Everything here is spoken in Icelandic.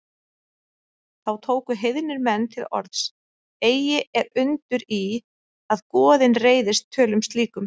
Þá tóku heiðnir menn til orðs: Eigi er undur í, að goðin reiðist tölum slíkum